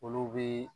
Olu bi